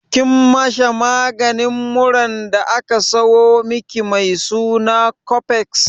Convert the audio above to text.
Kin masha maganin muran da aka sayo miki mai suna cofex?